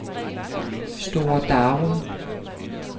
Store Darum